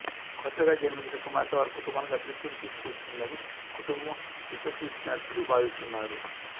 కొత్తగా జన్మించిన కుమార్తె వారి కుటుంబానికి అదృష్టం తీసుకువచ్చిందని కుటుంబం విశ్వసించినట్లు భావిస్తున్నారు